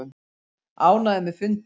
Ánægður með fundinn